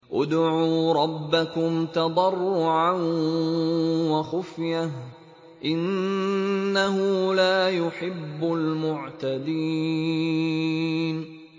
ادْعُوا رَبَّكُمْ تَضَرُّعًا وَخُفْيَةً ۚ إِنَّهُ لَا يُحِبُّ الْمُعْتَدِينَ